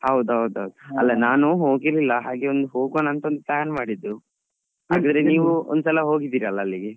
ಹೌದೌದೌದು ಅಲ್ಲಾ ನಾನೂ ಹೋಗಿರ್ಲಿಲ್ಲಾ ಹಾಗೆ ಒಂದು ಹೋಗೋಣ ಅಂತ plan ಮಾಡಿದ್ದು ಆದರೆ ನೀವ್ ಒಂದ್ಸಲ ಹೋಗಿದ್ದೀರ ಅಲ ಅಲ್ಲಿಗೆ.